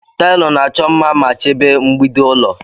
Taịlị na-achọ mma ma chebe mgbidi ulọ.